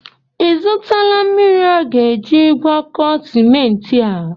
Ị zụtala mmiri aga-eji gwakọọ simenti a?